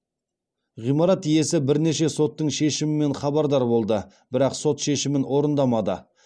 ғимарат иесі бірнеше соттың шешімімен хабардар болды бірақ сот шешімін орындамады